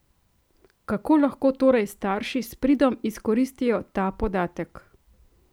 Kako lahko torej starši s pridom izkoristijo ta podatek?